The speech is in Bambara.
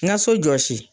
N ka so jɔsi